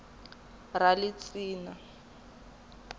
ralistina